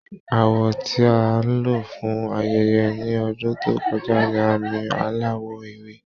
Àwọ̀ tí a lò fún ayẹyẹ ní ọdún tó kọjá ni àmì aláwọ̀ ewé